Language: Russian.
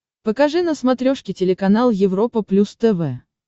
покажи на смотрешке телеканал европа плюс тв